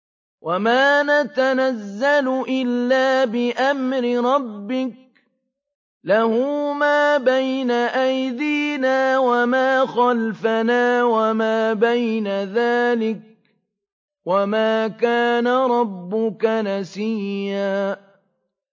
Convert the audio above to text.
وَمَا نَتَنَزَّلُ إِلَّا بِأَمْرِ رَبِّكَ ۖ لَهُ مَا بَيْنَ أَيْدِينَا وَمَا خَلْفَنَا وَمَا بَيْنَ ذَٰلِكَ ۚ وَمَا كَانَ رَبُّكَ نَسِيًّا